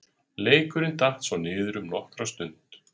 Leikurinn datt svo niður um nokkra stund.